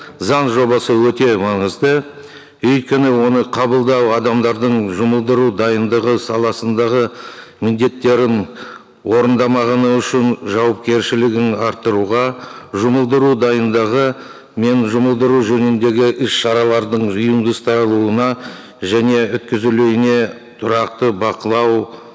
заң жобасы өте маңызды өйткені оны қабылдау адамдардың жұмылдыру дайындығы саласындағы міндеттерін орындамағаны үшін жауапкершілігін арттыруға жұмылдыру дайындығы мен жұмылдыру жөніндегі іс шаралардың жиынды ұсталуына және өткізілуіне тұрақты бақылау